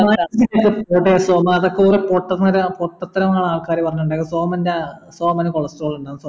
എടാ സോമാ അതൊക്കെ വെറും പൊട്ടത്തരാ പൊട്ടത്തരമാ ആൾക്കാർ പറഞ്ഞുണ്ടാക്കിയേ സോമൻന്റെ സോമൻ cholestrol